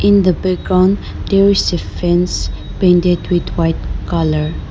in the background there is a fence painted with white colour.